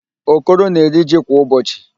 Okoro na-eri ji kwa ụbọchị.